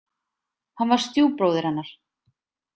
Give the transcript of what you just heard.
Hann var stjúpbróðir hennar.